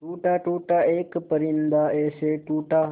टूटा टूटा एक परिंदा ऐसे टूटा